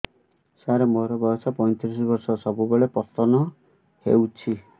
ସାର ମୋର ବୟସ ପୈତିରିଶ ବର୍ଷ ସବୁବେଳେ ପତନ ହେଉଛି